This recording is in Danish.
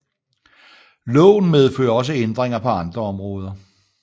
Loven medfører også ændringer på andre områder